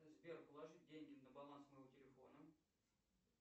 сбер положи деньги на баланс моего телефона